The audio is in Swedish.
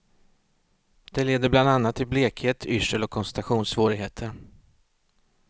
Det leder bland annat till blekhet, yrsel och koncentrationssvårigheter.